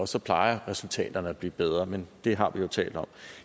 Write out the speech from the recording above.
så plejer resultaterne at blive bedre men det har vi jo talt om